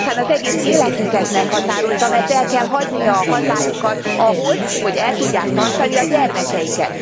Ami aztán az egész életüket meghatározza, mert el kell hagyniuk a hazájukat ahhoz, hogy el tudják tartani a gyermekeiket.